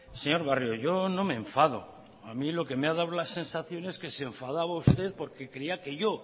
señor barrio yo no me enfado a mí lo que me ha dado la sensación es que se enfadaba usted porque creía que yo